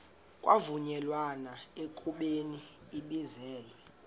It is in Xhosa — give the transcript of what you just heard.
kwavunyelwana ekubeni ibizelwe